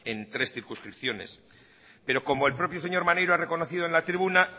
en tres circunscripciones pero como el propio señor maneiro ha reconocido en la tribuna